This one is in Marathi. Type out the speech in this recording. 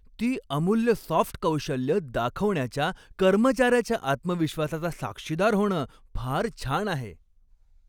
ती अमूल्य सॉफ्ट कौशल्यं दाखवण्याच्या कर्मचाऱ्याच्या आत्मविश्वासाचा साक्षीदार होणं फार छान आहे.